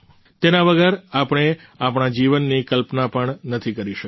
તેના વગર આપણે આપણા જીવનની કલ્પના પણ નથી કરી શકતા